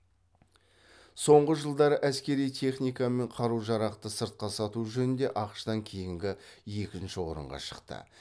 соңғы жылдары әскери техника мен қару жарақты сыртқа сату жөнінде ақш тан кейінгі екінші орынға шықты